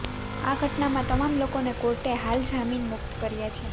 આ ઘટનામાં તમામ લોકોને કોર્ટે હાલ જામીન મુક્ત કર્યા છે